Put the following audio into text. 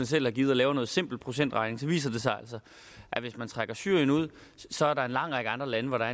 selv har givet og laver noget simpel procentregning viser det sig altså at hvis man trækker syrien ud så er der en lang række andre lande hvor der